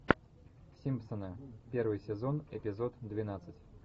симпсоны первый сезон эпизод двенадцать